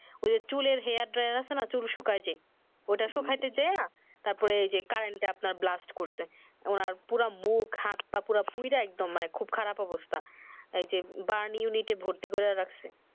ঐ যে চুলের hair dryer আছে না চুল শুকায় যে ঐ টা শুকায়তে যাইয়া তার পর এই যে কারেন্ট আপনার blast করছে ওনার পুরা মুখ হাত পা পুরে একদম খুব খারাপ অবস্থা এই যে burn unite এ ভর্তি করে রাখছে